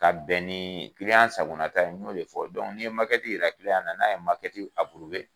Ka bɛn ni sangonata ye, n'o be fɔ ni ye yira na, n'a ye